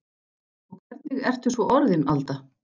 Og hvernig ertu svo orðin Alda.